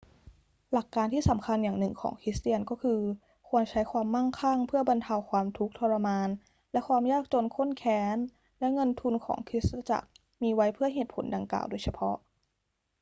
หลักการที่สำคัญอย่างหนึ่งของคริสเตียนก็คือ ควรใช้ความมั่งคั่งเพื่อบรรเทาความทุกข์ทรมานและความยากจนข้นแค้น และเงินทุนของคริสตจักรมีไว้เพื่อเหตุผลดังกล่าวโดยเฉพาะ